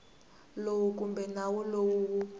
lowu kumbe nawu lowu wu